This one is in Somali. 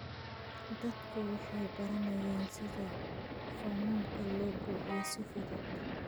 Dadku waxay baranayaan sida foomamka loo buuxiyo si fudud.